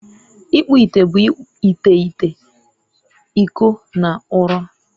ịkpụ ite bụ ite ite, iko na ụrọ